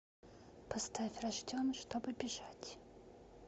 поставь рожден чтобы бежать